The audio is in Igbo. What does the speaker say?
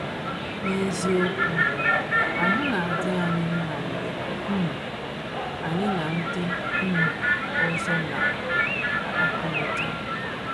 N’eziokwu, ahụ́ na - adị anyị mma mgbe um anyị na ndị um ọzọ na - akpakọrịta.